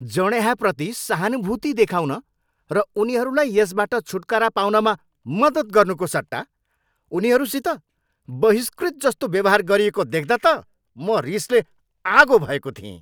जँड्याहाप्रति सहानुभूति देखाउन र उनीहरूलाई यसबाट छुटकारा पाउनमा मद्दत गर्नुको सट्टा उनीहरूसित बहिष्कृत जस्तो व्यवहार गरिएको देख्दा त म रिसले आगो भएको थिएँ।